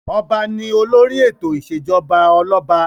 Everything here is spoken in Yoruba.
Ọba ni olórí ètò ìṣèjọba ọlọ́ba.